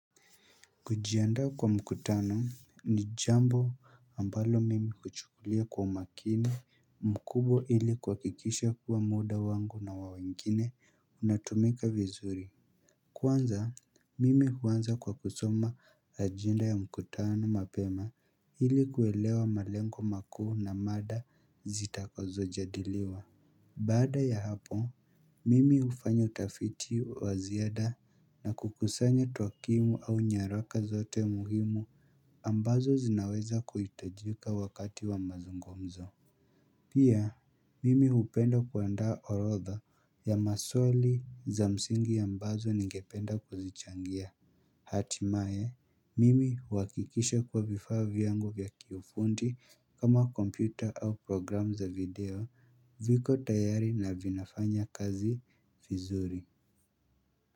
Kujiandaa kwa mkutano ni jambo ambalo mimi huchukulia kwa umakini mkubwa ili kuhakikisha kuwa muda wangu na wa wengine unatumika vizuri. Kwanza, mimi huanza kwa kusoma ajenda ya mkutano mapema ili kuelewa malengo makuu na mada zitakazojadiliwa. Baada ya hapo, mimi hufanya utafiti wa ziada na kukusanya tokimu au nyaraka zote muhimu ambazo zinaweza kuhitajika wakati wa mazungumzo. Pia, mimi hupenda kuandaa orodha ya maswali za msingi ambazo ningependa kuzichangia. Hatimaye, mimi huhakikisha kuwa vifaa vyangu vya kiufundi kama kompyuta au programu za video viko tayari na vinafanya kazi vizuri.